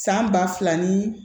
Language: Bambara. San ba fila ni